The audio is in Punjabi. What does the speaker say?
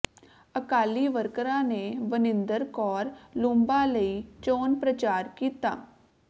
ਅਕਾਲੀ ਵਰਕਰਾਂ ਨੇ ਵਨਿੰਦਰ ਕੌਰ ਲੂੰਬਾ ਲਈ ਚੋਣ ਪ੍ਰਚਾਰ ਕੀਤਾ